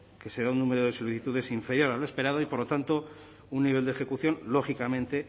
que será un número de solicitudes inferior a lo esperado y por lo tanto un nivel de ejecución lógicamente